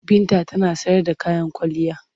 Binta tana sayar da kayan kwalliya.